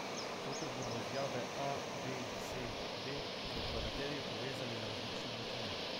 Tokrat bomo izjave A, B, C, D z operatorji povezali na različne načine.